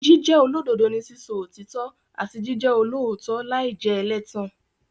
Jíjẹ́ olódodo ni sísọ òtítọ́ àti jíjẹ olóòótọ́ láì jẹ́ ẹlẹ́tàn.